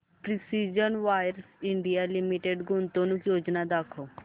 precision wires India limited गुंतवणूक योजना दाखव